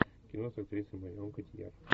кино с актрисой марион котийяр